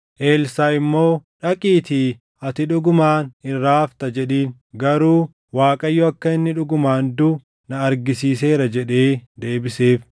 Elsaaʼi immoo, “Dhaqiitii, ‘Ati dhugumaan irraa hafta’ jedhiin; garuu Waaqayyo akka inni dhugumaan duʼu na argisiiseera” jedhee deebiseef.